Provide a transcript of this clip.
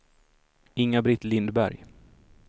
Inga-Britt Lindberg